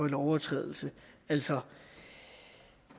lovovertrædelse altså